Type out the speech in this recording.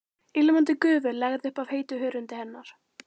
Ilmandi gufu lagði upp af heitu hörundi hennar.